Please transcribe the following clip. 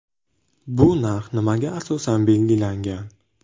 Bu narx nimaga asosan belgilangan?